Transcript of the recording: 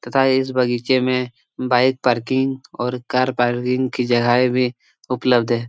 तथा इस बगीचे में बाइक पर्किंग और कार पार्किग की जगहे भी उपलब्ध है।